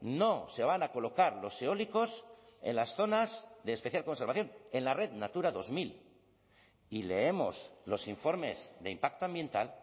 no se van a colocar los eólicos en las zonas de especial conservación en la red natura dos mil y leemos los informes de impacto ambiental